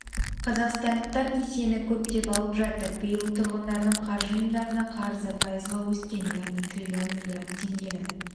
қазақстандықтар несиені көптеп алып жатыр биыл тұрғындардың қаржы ұйымдарына қарызы пайызға өскен яғни триллион миллиард теңгені